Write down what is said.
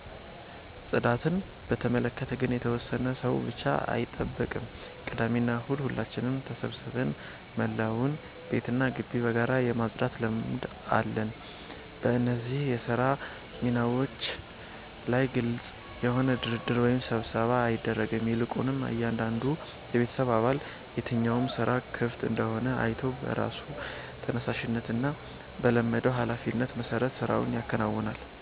ጽዳትን በተመለከተ ግን የተወሰነ ሰው ብቻ አይጠብቅም፤ ቅዳሜና እሁድ ሁላችንም ተሰባስበን መላውን ቤትና ግቢ በጋራ የማጽዳት ልማድ አለን። በእነዚህ የሥራ ሚናዎች ላይ ግልጽ የሆነ ድርድር ወይም ስብሰባ አይደረግም፤ ይልቁንም እያንዳንዱ የቤተሰብ አባል የትኛው ሥራ ክፍት እንደሆነ አይቶ በራሱ ተነሳሽነትና በለመደው ኃላፊነት መሠረት ሥራውን ያከናውናል።